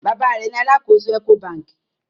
Baba rẹ ní àlàkọ̀só Ecobankì.